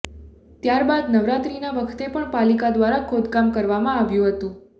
ત્યાર બાદ નવરાત્રીના વખતે પણ પાલીકા ધ્વારા ખોદકામ કરવામા આવ્યુ હતુ